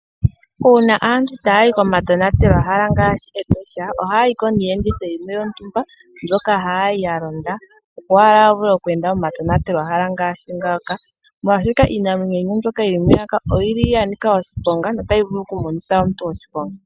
Uuna aantu taayi komatonatelo hala ngaashi omatosha ohaayiko niiyenditho mbyoka haayi yalonda. opo yavule okuenda komatonatelo hala ngaashi ngaa